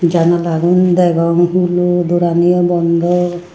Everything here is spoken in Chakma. janalagun degong hulo doraniyo bondaw.